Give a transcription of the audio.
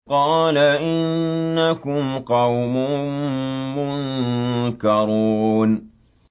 قَالَ إِنَّكُمْ قَوْمٌ مُّنكَرُونَ